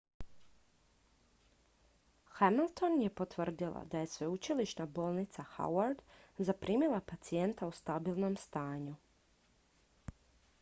hamilton je potvrdila da je sveučilišna bolnica howard zaprimila pacijenta u stabilnom stanju